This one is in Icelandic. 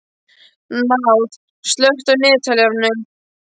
Náð, slökktu á niðurteljaranum.